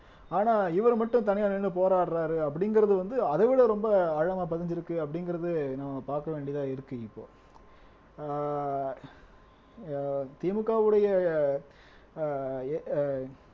ஆனா இவரு மட்டும் தனியா நின்னு போராடுறாரு அப்படிங்கிறது வந்து அதை விட ரொம்ப ஆழமா பதிஞ்சிருக்கு அப்படிங்கிறது நம்ம பாக்க வேண்டியதா இருக்கு இப்போ ஆஹ் அஹ் திமுகவுடைய ஆஹ் எ